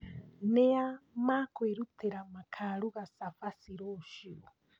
Nĩa makwĩrutĩra makaruga cabaci rũciũ?